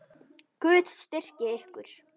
Guð styrki ykkur.